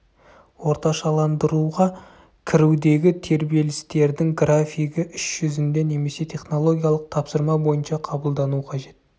орташаландыруға кірудегі тербелістердің графигі іс жүзінде немесе технологиялық тапсырма бойынша қабылдану қажет